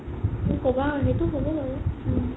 সেইটো হ'ব বাৰু